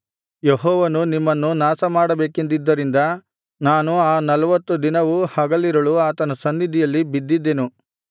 ಯೆಹೋವನು ನಿಮ್ಮನ್ನು ನಾಶಮಾಡಬೇಕೆಂದಿದ್ದರಿಂದ ನಾನು ಆ ನಲ್ವತ್ತು ದಿನವೂ ಹಗಲಿರುಳು ಆತನ ಸನ್ನಿಧಿಯಲ್ಲಿ ಬಿದ್ದಿದ್ದೆನು